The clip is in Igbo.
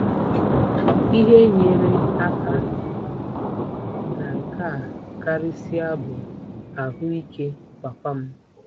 Ihe nyere aka na nke a karịsịa bụ ahụ́ ike papa m.